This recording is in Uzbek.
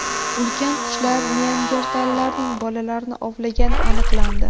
Ulkan qushlar neandertallarning bolalarini ovlagani aniqlandi.